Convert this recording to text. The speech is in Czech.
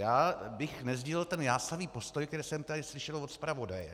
Já bych nesdílel ten jásavý postoj, který jsem tady slyšel od zpravodaje.